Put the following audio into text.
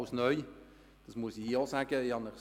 Das möchte ich hier gesagt haben.